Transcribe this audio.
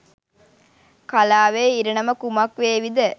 කලාවේ ඉරණම කුමක් වේවිද?